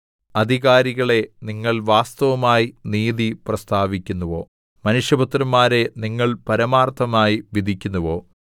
അധികാരികളേ നിങ്ങൾ വാസ്തവമായി നീതി പ്രസ്താവിക്കുന്നുവോ മനുഷ്യപുത്രന്മാരേ നിങ്ങൾ പരമാർത്ഥമായി വിധിക്കുന്നുവോ